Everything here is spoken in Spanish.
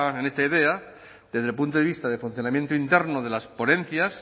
en esta idea desde el punto de vista de funcionamiento interno de las ponencias